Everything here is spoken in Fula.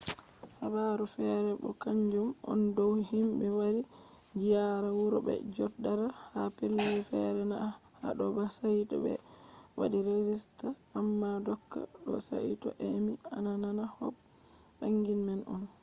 habaru fere bo kanjum on dow himɓe wari ziyaara wuro bo je joɗata ha pellel fere na haɗo ba saito ɓe waɗi regista. amma doka ɗo saito a emi a nana kop banning man on